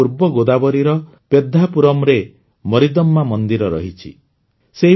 ଏଠାକାର ପୂର୍ବ ଗୋଦାବରୀର ପେଦ୍ଧାପୁରମରେ ମରିଦମ୍ମା ମନ୍ଦିର ମଧ୍ୟ ରହିଛି